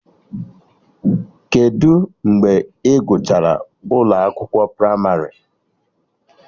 Kedụ mgbe Ị gụchara ụlọ akwụkwọ pramarị?